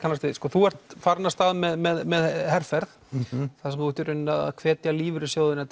þú ert farinn af stað með herferð þar sem þú ert í rauninni að hvetja lífeyrissjóðina